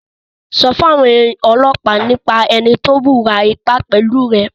Sọ fún àwọn ọlọ́pàá nípa ẹni tó wùwà ipá pẹ̀lú rẹ̀!